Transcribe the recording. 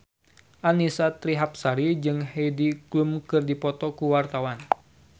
Annisa Trihapsari jeung Heidi Klum keur dipoto ku wartawan